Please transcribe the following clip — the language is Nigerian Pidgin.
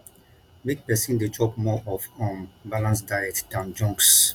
make persin de chop more of um balance diet than junks